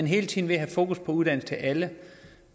hele tiden at have fokus på uddannelse til alle